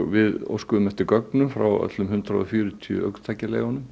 við óskuðum eftir gögnum frá öllum hundrað og fjörutíu